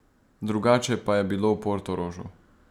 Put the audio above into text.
Drugače pa je bilo v Portorožu.